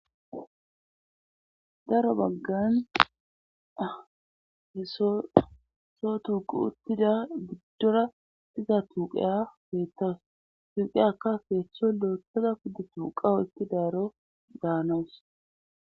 daro baggan hesoeso tuuqu uttida biddora siza tuqeya feetas tuuqi aka feeththo lo7ettoda kuddu tuuqao itti daaro gaanoos.